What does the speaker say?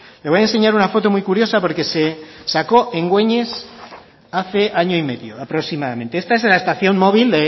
le voy a enseñar una foto muy curiosa porque se sacó en güeñes hace año y medio aproximadamente esta es la estación móvil